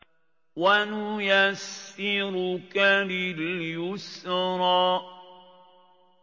وَنُيَسِّرُكَ لِلْيُسْرَىٰ